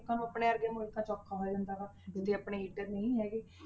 ਲੋਕਾਂ ਨੂੰ ਆਪਣੇ ਵਰਗਿਆਂ ਨੂੰ ਇੱਥੇ ਔਖਾ ਹੋ ਜਾਂਦਾ ਵਾ ਜੇ ਆਪਣੇ heater ਨਹੀਂ ਹੈਗੇ।